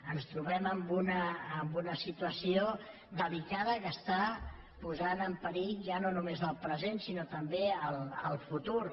ens trobem en una situació delicada que està posant en perill ja no només el present sinó també el futur